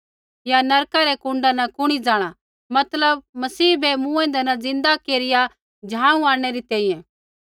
या नरका रै कुण्डा न कुणी जाँणा मतलव मसीह बै मूँएंदै न ज़िन्दा केरिया झाँऊ आंणनै री तैंईंयैं